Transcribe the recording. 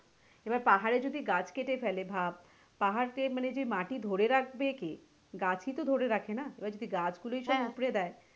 এবারে পাহাড়ে যদি গাছ কেটে ফেলে ভাব পাহাড় যে মানে মাটি ধরে রাখবে কে গাছ ই তো ধরে রাখে না এবারে যদি গাছ গুলি তোর উপড়ে দেয়,